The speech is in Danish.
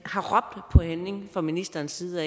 har råbt på handling fra ministerens side